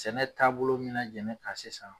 Sɛnɛ taabolo min na jɛnen kan sisan